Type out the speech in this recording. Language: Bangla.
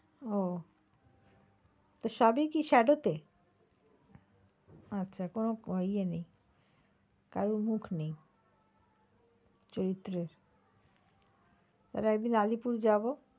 ও তো সবই কি shadow তে আচ্ছা কোনো ইয়ে নেই কারো মুখ নেই চরিত্রের, তাহলে একদিন আলিপুর যাবো।